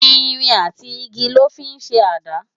Irin àtí igi lò fi n ṣé àdá